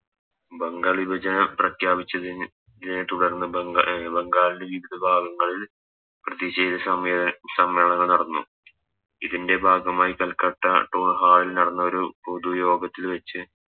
ബംഗാൾ വിഭജനം പ്രഘ്യാപിച്ച ച്ചതിനെ തുടർന്ന് ബംഗാ അഹ് ബംഗാളിലെ വിവിധ ഭാഗങ്ങളിൽ പ്രതിഷേത സമീ സമ്മേളനങ്ങൾ നടന്നു ഇതിൻറെ ഭാഗമായി കൽക്കട്ട Town hall നടന്ന ഒരു പൊതു യോഗത്തിൽ വെച്ച്